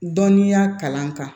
Dɔnniya kalan kan